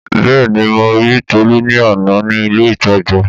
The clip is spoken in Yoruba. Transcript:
Bẹ́ẹ̀ni mo ri Tọlú ní àná ní ilé ìtajà